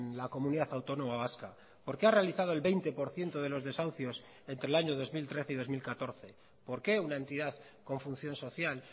la comunidad autónoma vasca por qué ha realizado el veinte por ciento de los desahucios entre el año dos mil trece y dos mil catorce por qué una entidad con función social